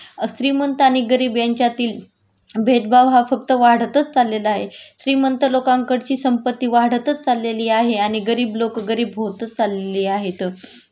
श्रीमंत आणि गरीब यांच्यातील भेदभाव हा फक्त वाढतच चाललेला आहे.श्रीमंत लोकांकडची संपत्ती वाढतच चाललेली आहे आणि गरीब लोकं गरीब होतच चाललेली आहेत